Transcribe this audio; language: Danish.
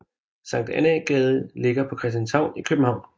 Sankt Annæ Gade ligger på Christianshavn i København